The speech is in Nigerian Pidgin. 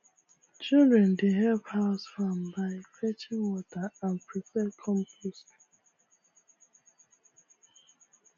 children dey help house farm by fetching water and prepare compost